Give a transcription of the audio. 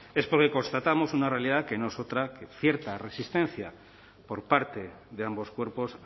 es porque constatamos una realidad que no es otra que cierta resistencia por parte de ambos cuerpos